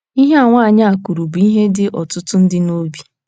Ihe a nwaanyị a kwuru bụ ihe dị ọtụtụ ndị n’obi.